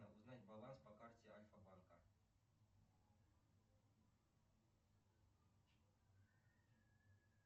узнать баланс по карте альфа банка